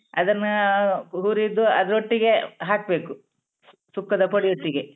ಅದನ್ನಾ ಹುರಿದು ಅದ್ರೊಟ್ಟಿಗೆ ಹಾಕ್ಬೇಕು ಸುಕ್ಕದ ಪೊಡಿಯೊಟ್ಟಿಗೆ.